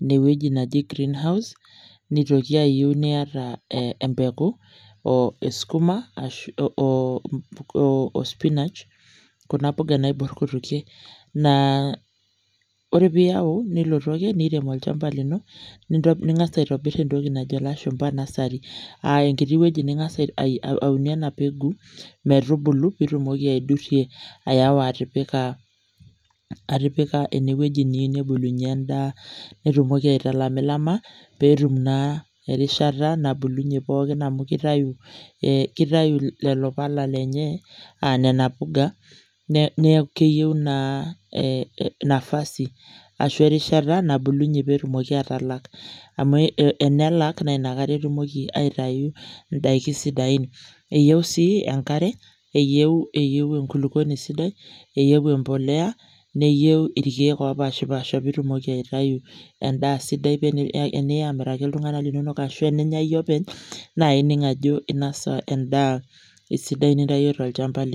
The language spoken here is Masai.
ina wueji naji green house. Neitoki ayieu niata empeku eskuma oo ospinach kuna puka naibor kutukie. Naa ore piyau , nilotu ake olchamba lino , ningas aitobir entoki najo ilashumba nursery, aa enkiti wueji ningas aunie ena mbengu metubulu pitumoki aidurie aewa atipika ene wueji niyieu nebulunyie endaa , nitumoki aitalamilama petum naa erishata nabulunyie pookin amu kitayu, kitayu lelo pala lenye aa nena puga , niaku keyieu naa nafasi ashu erishata nabulunyie petumoki atalak amu enelak naa inakata etumoki aitayu ndaiki sidain. Eyieu sii enkare eyieu enkulupuoni sidai, eyieu empolea , neyieu irkiek opashpasha pitumoki aitayu endaa sidai paa teniya amiraki iltunganak linonok ashu teninya iyie openy naa ining ajo inasa esidai nintayio tolchamba lino.